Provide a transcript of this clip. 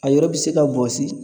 A yɔrɔ bɛ se ka bɔsi